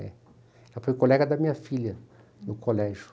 Ela foi colega da minha filha no colégio.